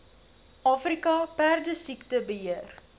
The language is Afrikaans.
afrika perdesiekte beheer